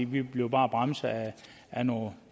vi blev bare bremset af nogle